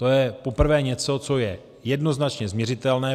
To je poprvé něco, co je jednoznačně změřitelné.